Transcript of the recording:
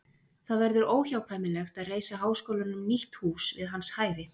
Það verður óhjákvæmilegt að reisa háskólanum nýtt hús við hans hæfi.